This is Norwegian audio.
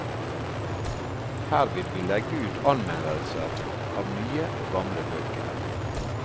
Her vil vi legge ut anmeldelser av nye og gamle bøker.